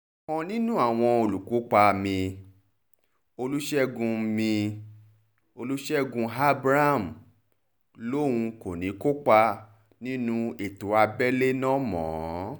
ọ̀kan nínú àwọn olùkópa mi-in olùṣègùn mi-in olùṣègùn abraham lòun kò ní í kópa nínú ètò abẹ́lé náà mọ́